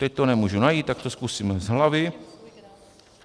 Teď to nemůžu najít, tak to zkusím z hlavy.